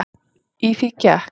Í því gekk